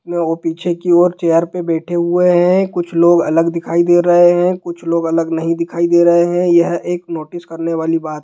लोग पीछे की ओर चेयर पे बैठे हुए हैं| कुछ लोग अलग दिखाई दे रहे हैं कुछ लोग अलग नहीं दिखाई दे रहे हैं| यह है एक नोटिस करने वाली बात--